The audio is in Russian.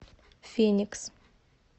феникс